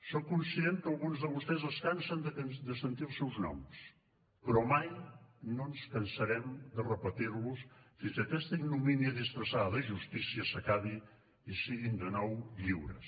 soc conscient que alguns de vostès es cansen de sentir els seus noms però mai no ens cansarem de repetir los fins que aquesta ignomínia disfressada de justícia s’acabi i siguin de nou lliures